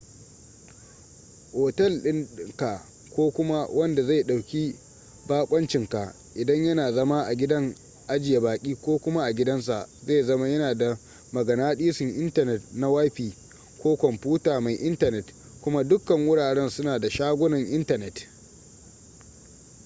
otel dinka ko kuma wanda zai dauki bakoncinka idan yana zama a gidan ajiye baki ko kuma a gidansa zai zama yana da maganadisun intanet na wifi ko kwamfuta mai intanet kuma dukkan wuraren suna da shagunan intanet